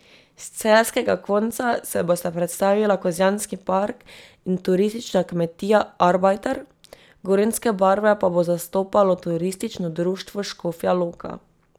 S celjskega konca se bosta predstavila Kozjanski park in turistična kmetija Arbajter, gorenjske barve pa bo zastopalo turistično društvo Škofja Loka.